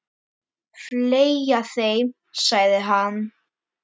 Fleygja þeim, sagði hann.